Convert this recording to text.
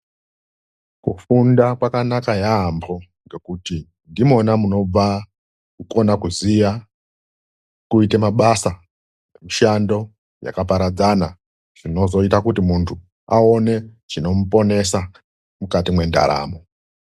Kufunda kwakanaka yaamho nokuti ndimona munobva kukona kuziya kuita mabasa, mishando yakaparadzana, zvinozoita kuti muntu aone chinomuponesa mukati mendaramo .